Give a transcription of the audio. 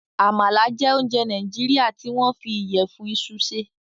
Àmala jẹ́ ounjẹ Nàìjíríà tí wọ́n fi ìyẹ̀fun iṣu ṣe.